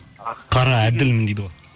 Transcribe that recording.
қара әділмін дейді ғой